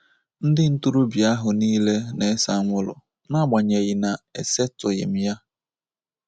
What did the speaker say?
Ndị ntorobịa ahụ nile na-ese anwụrụ, n'agbanyeghị na-esetụghị m ya.